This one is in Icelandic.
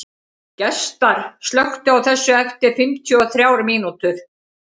Gestar, slökktu á þessu eftir fimmtíu og þrjár mínútur.